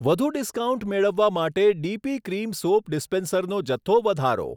વધુ ડિસ્કાઉન્ટ મેળવવા માટે ડીપી ક્રીમ સોપ ડીસ્પેન્સરનો જથ્થો વધારો.